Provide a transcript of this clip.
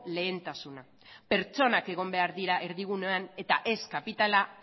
lehentasuna pertsonak egon behar dira erdigunean eta ez kapitala